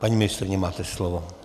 Paní ministryně, máte slovo.